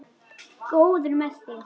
Góður með þig.